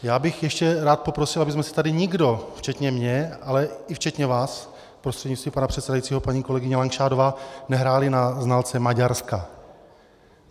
Já bych ještě rád poprosil, abychom si tady nikdo, včetně mě, ale i včetně vás, prostřednictvím pana předsedajícího paní kolegyně Langšádlová, nehráli na znalce Maďarska.